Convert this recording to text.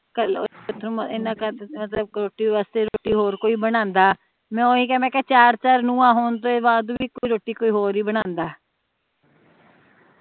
ਮੈਂ ਓਹੀ ਕੇਹਾ ਮੇਹਾ ਚਾਰ ਚਾਰ ਨੂੰਹਾਂ ਹੋਣ ਤੋਂ ਬਾਦ ਵੀ ਕੋਈ ਰੋਟੀ ਕੋਈ ਹੋਰ ਹੀ ਬਨਾਉਂਦਾ